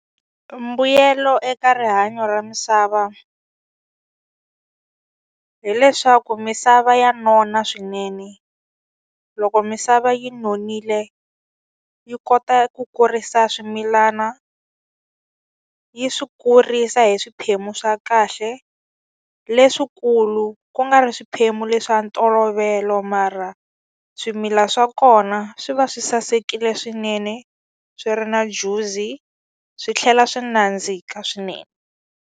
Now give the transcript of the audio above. Mbuyelo eka rihanyo ra misava hileswaku misava ya nona swinene loko misava yi nonile yi kota ku kurisa swimilana yi swi kurisa hi swiphemu swa kahle leswikulu ku nga ri swiphemu leswa ntolovelo mara swimila swa kona swi va swi sasekile swinene swi ri na juzi swi tlhela swi nandzika swinene.